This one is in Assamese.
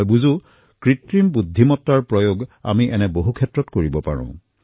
মই বুজি পাইছোঁ যে কৃত্ৰিম বুদ্ধিমতাৰ ব্যৱহাৰ এনেকুৱা বহুতো ব্যৱস্থাত কৰিব পাৰি